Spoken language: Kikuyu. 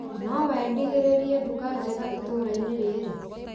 Nowendithĩrĩrie nduka njega itũra rĩrĩ .